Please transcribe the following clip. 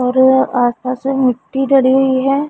और आसपास में मिट्टी डली हुई है।